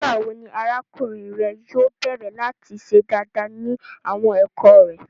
Nigbawo ni arakunrin rẹ yóò bẹrẹ lati ṣe daadaa ni awọn ẹkọ rẹ?